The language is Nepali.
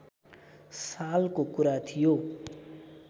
सालको कुरा थियो